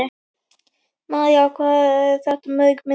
María: Hvað eru þetta mörg myndbönd?